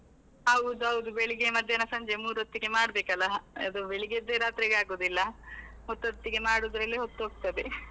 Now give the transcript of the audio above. ಹೌದೌದು ಬೆಳಿಗ್ಗೆ, ಮಧ್ಯಾಹ್ನ, ಸಂಜೆ ಮೂರ್ ಹೊತ್ತಿಗೆ ಮಾಡ್ಬೇಕಲ್ಲ, ಅದು ಬೆಳಿಗ್ಗೆದ್ದೆ ರಾತ್ರಿಗೆ ಆಗುದಿಲ್ಲ, ಹೊತ್ತೊತ್ತಿಗೆ ಮಾಡುದ್ರಲ್ಲೆ ಹೊತ್ತೊಗ್ತದೆ .